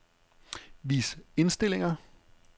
Vis indstillinger.